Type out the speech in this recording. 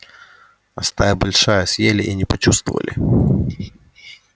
а стая большая съели и не почувствовали